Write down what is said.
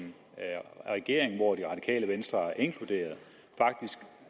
regering hvor det radikale venstre er inkluderet